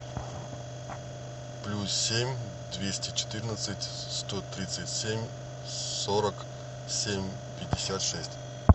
плюс семь двести четырнадцать сто тридцать семь сорок семь пятьдесят шесть